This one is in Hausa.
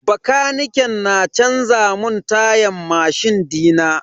Bakaniken na canza mun tayan mashin dina.